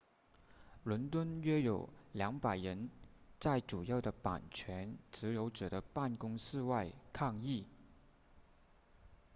伦敦约有200人在主要的版权持有者的办公室外抗议